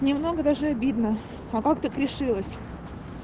немного даже обидно а как так решилась